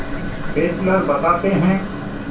Fessler बताते हैं